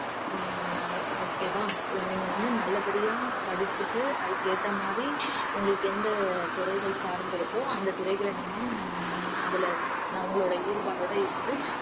ஹம் okay வா நீங்க வந்து நல்லபடியா படிச்சிட்டு அதுக்கேத்த மாதிரி உங்களுக்கு எந்த துறைகள் சார்ந்திருக்கோ அந்தத் துறைகள நீங்க அதுல ந~ உங்களோட ஈடுபாடோட இருந்து